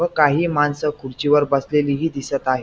व काही माणस खुर्चीवर बसलेलीही दिसत आहे.